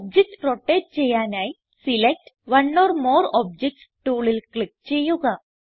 object rotate ചെയ്യാനായി select one or more objects ടൂളിൽ click ചെയ്യുക